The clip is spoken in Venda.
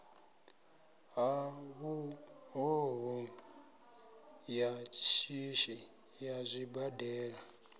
ṱhaṱhuvho ya shishi ya zwibadela